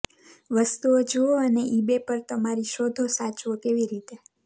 વસ્તુઓ જુઓ અને ઇબે પર તમારી શોધો સાચવો કેવી રીતે